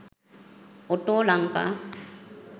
auto lanka